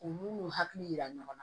U n'u n'u hakili jira ɲɔgɔn na